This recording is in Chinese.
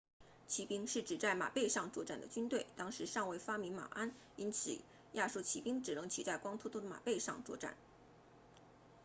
骑兵是指在马背上作战的军队当时尚未发明马鞍因此亚述骑兵只能骑在光秃秃的马背上作战